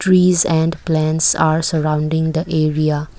Trees and plants are surrounding the area.